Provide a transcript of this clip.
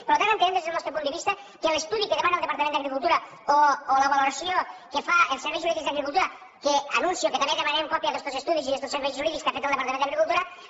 per tant entenem des del nostre punt de vista que l’estudi que demana el departament d’agricultura o la valoració que fan els serveis jurídics d’agricultura que anuncio que també demanarem còpia d’estos estudis i d’estos serveis jurídics que ha fet el departament d’agricultura